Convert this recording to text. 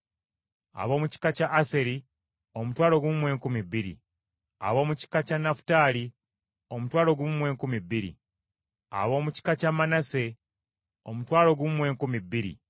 ab’omu kika kya Aseri omutwalo gumu mu enkumi bbiri (12,000), ab’omu kika kya Nafutaali omutwalo gumu mu enkumi bbiri (12,000), ab’omu kika kya Manaase omutwalo gumu mu enkumi bbiri (12,000),